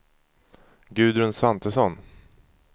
Gudrun Svantesson